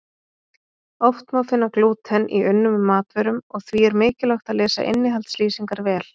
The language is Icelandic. Oft má finna glúten í unnum matvörum og því er mikilvægt að lesa innihaldslýsingar vel.